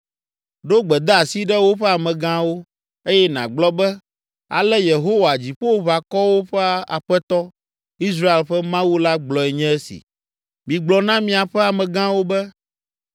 Ɖo gbedeasi ɖe woƒe amegãwo, eye nàgblɔ be, ‘Ale Yehowa, Dziƒoʋakɔwo ƒe Aƒetɔ, Israel ƒe Mawu la gblɔe nye esi: “Migblɔ na miaƒe amegãwo be,